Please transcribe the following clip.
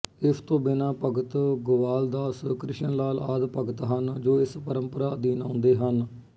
ਇਸ ਤੋਂ ਬਿਨਾ ਭਗਤ ਗੁਆਲਦਾਸਕ੍ਰਿਸ਼ਨਲਾਲ ਆਦਿ ਭਗਤ ਹਨ ਜੋ ਇਸ ਪਰੰਪਰਾ ਅਧੀਨ ਆਉਂਦੇ ਹਨ